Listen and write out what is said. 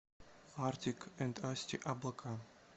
артик энд асти облака